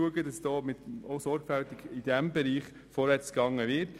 Ebenfalls in diesem Bereich ist Sorgfalt angebracht.